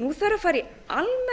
nú þarf að fara í almennar aðgerðir